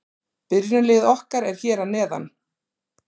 Byrjunarliðið okkar er hér að neðan.